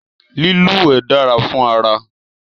Lílúwẹ̀ dára fún ara